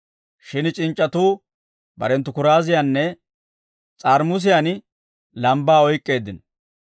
Shin c'inc'c'atuu barenttu kuraaziyaanne s'aaramusiyaan lambbaa oyk'k'eeddino.